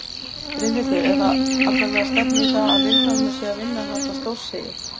Brynhildur: En það allavega stefnir í það að Vilhjálmur sé að vinna þarna stórsigur?